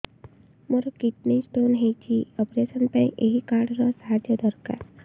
ମୋର kidney stone ହଇଛି operation ପାଇଁ ଏହି କାର୍ଡ ର ସାହାଯ୍ୟ ଦରକାର